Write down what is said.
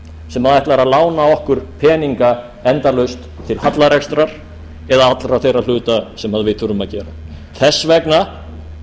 sem ætlar að lána okkur peninga endalaust til hallarekstrar eða allra þeirra hluta sem við þurfum að gera þess vegna